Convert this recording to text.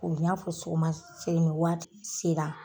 O b'i n'a fɔ sɔgɔma sen waati sera